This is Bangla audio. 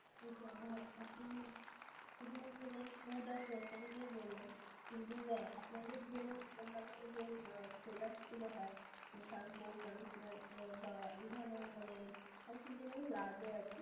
শুধুমাত্র যারা food আর grocery নিয়ে বললাম কিন্তু আপনাদের ধরুন অন্যান্য যে product গুলো হয় shampoo, conditioner বা এই ধরণের মানে হয়কি যেগুলো লাগে আরকি